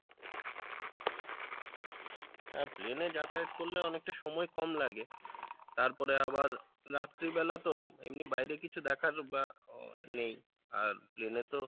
হ্যাঁ plane এ যাতায়াত করলে অনেকটা সময় কম লাগে তারপরে আবার রাত্রি বেলা তো এমনি বাইরে কিছু দেখার বা আহ নেই আর plane এ তো